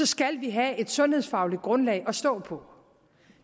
skal vi have et sundhedsfagligt grundlag at stå på